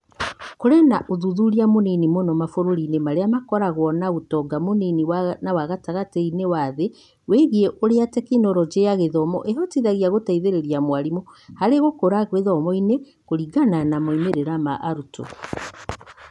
Kũrĩ na ũthuthuria mũnini mũno mabũrũri-inĩ marĩa makoragwo na ũtonga mũnini na wa gatagatĩ-inĩ wa thĩ wĩgiĩ ũrĩa Teknoroji ya Gĩthomo ĩhotithagia gũteithĩrĩria mwarimũ harĩ gũkũra gĩthomo-inĩ kũringana na moimĩrĩro ma arutwo.